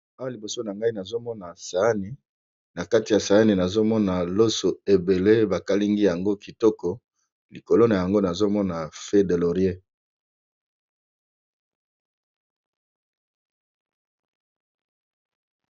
Awa liboso na ngai nazomona sayani na kati ya sayani nazomona loso ebele bakalingi yango kitoko likolo na yango nazomona fe de lorier.